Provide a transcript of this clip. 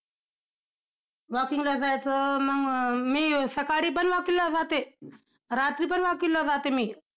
Walking ला जायचं~ मंग मी सकाळी पण walking ला जाते, रात्री पण walking ला जाते मी.